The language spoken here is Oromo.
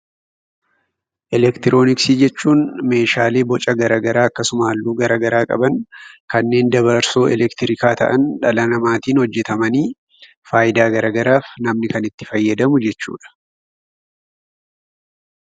Eleektirooniksii jechuun Meeshaalee Boca garaagaraa qabu yookaan halluu garaagaraa qaban kanneen dabarsoo ifaa ta'an, dhala namaatiin hojjetaman fayidaa garaagaraa namni itti fayyadamu jennaan.